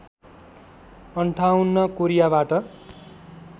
५८ कोरियाबाट